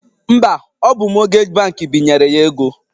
Mba, ọ bụ mọtgeji bankị binyere ya ego